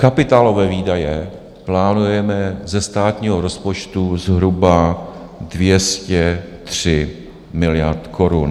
Kapitálové výdaje plánujeme ze státního rozpočtu zhruba 203 miliard korun.